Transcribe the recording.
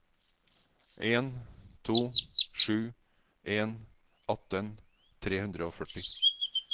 en to sju en atten tre hundre og førti